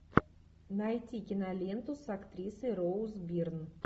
найти киноленту с актрисой роуз бирн